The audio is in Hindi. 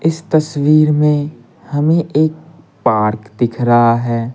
इस तस्वीर में हमें एक पार्क दिख रहा है।